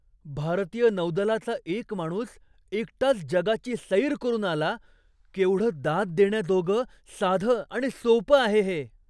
भारतीय नौदलाचा एक माणूस एकटाच जगाची सैर करून आला. केवढं दाद देण्याजोगं, साधं आणि सोपं आहे हे!